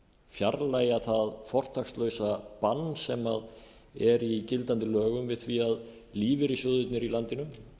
fjarlægja það fortakslausa bann sem er í gildandi lögum við því að lífeyrissjóðirnir í landinu